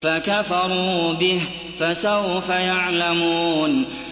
فَكَفَرُوا بِهِ ۖ فَسَوْفَ يَعْلَمُونَ